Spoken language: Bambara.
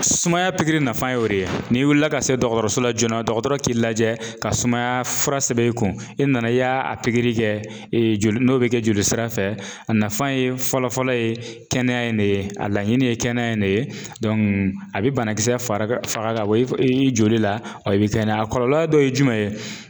Sumaya pikiri nafa ye o de ye n'i wulila ka se dɔgɔtɔrɔso la joona dɔgɔtɔrɔ k'i lajɛ ka sumaya fura sɛbɛn i kun, i nana i y'a a pikiri kɛ joli n'o be kɛ joli sira fɛ, a nafa ye fɔlɔ-fɔlɔ ye kɛnɛya in de ye, a laɲini ye kɛnɛya in de ye. a be banakisɛ fara ka faga k'a bɔ i f ii joli la i be kɛnɛya. A kɔlɔlɔ dɔ ye jumɛn ye?